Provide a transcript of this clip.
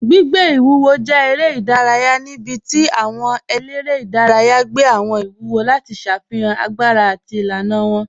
Gbìgbẹ̀ iwúwò jẹ̀ èrè idàrayà níbí tí àwọn èlẹ́rẹ̀ idàrayà gbẹ̀ àwọn iwúwò lati ṣáfihan agbára àti ilànà wọn.